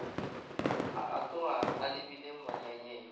a gatoga a lebile monyanyeng